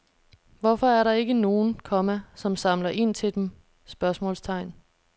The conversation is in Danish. Hvorfor er der ikke nogen, komma som samler ind til dem? spørgsmålstegn